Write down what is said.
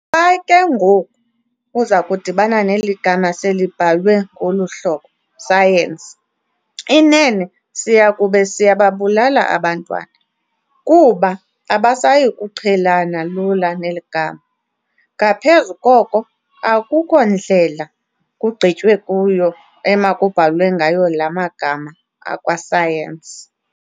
Xa ke ngoku ezakudibana neli gama selibhalwe ngolu hlobo "Sayenisi", inene siyakube siyababulala abantwana, kuba abasayikuqhelana lula neli gama. Ngaphezu koko, akukho ndlela kugqitywe kuyo emakubhalwe ngayo laa magama akwa-science.